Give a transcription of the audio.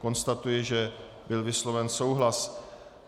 Konstatuji, že byl vysloven souhlas.